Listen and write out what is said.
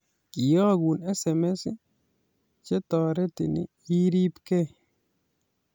Keyokun SMS che toretin iribekei